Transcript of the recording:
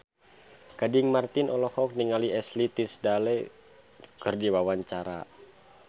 Gading Marten olohok ningali Ashley Tisdale keur diwawancara